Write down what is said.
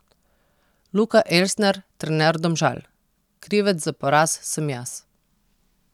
Luka Elsner, trener Domžal: 'Krivec za poraz sem jaz.